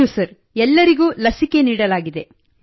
ಹೌದು ಸರ್ ಎಲ್ಲರಿಗೂ ಲಸಿಕೆ ನೀಡಲಾಗಿದೆ